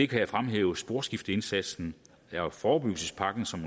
kan jeg fremhæve sporskifteindsatsen og forebyggelsespakken som